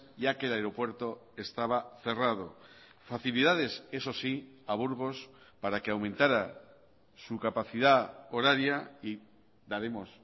ya que el aeropuerto estaba cerrado facilidades eso sí a burgos para que aumentara su capacidad horaria y daremos